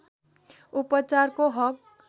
उपचारको हक